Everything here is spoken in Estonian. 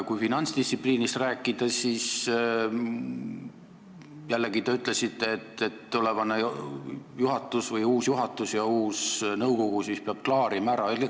Kui finantsdistsipliinist rääkida, siis te jällegi ütlesite, et tulevane või uus juhatus ja uus nõukogu peavad selle ära klaarima.